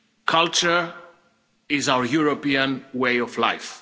Culture is our European way of life.